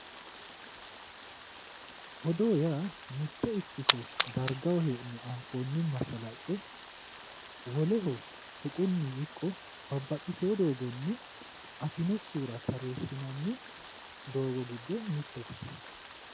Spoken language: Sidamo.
Odoo yaa mitte ikkito dargaho hee'ne anfoonni mashalaqe woleho tuqunni ikko babbaxitewo doogonni afinokkihura odeessinanni doogo giddo mittete.